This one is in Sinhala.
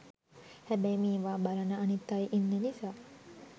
හැබැයි මේවා බලන අනිත් අය ඉන්න නිසා